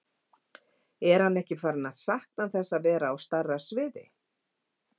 Er hann ekkert farinn að sakna þess að vera á stærra sviði?